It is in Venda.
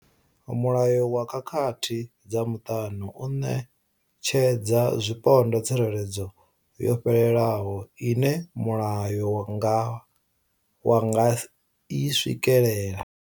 Mulayo wa khakhathi dza muṱani u ṋetshedza zwipondwa tsireledzo yo fhelelaho ine mulayo wa nga i swikela.